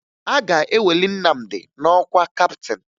A ga-eweli Nnamdi n'ọkwa kaptịn